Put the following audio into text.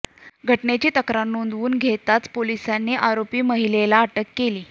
घटनेची तक्रार नोंदवून घेताच पोलिसांनी आरोपी महिलेला अटक केली